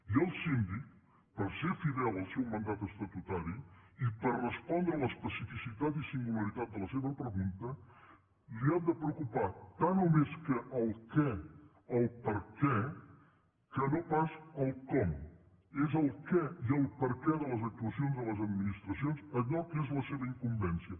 i al síndic per ser fidel al seu mandat estatutari i per respondre l’especificitat i singularitat de la seva pregunta li han de preocupar tant o més que el què el per què que no pas el com és el què i el per què de les actuacions de les administracions allò que és la seva incumbència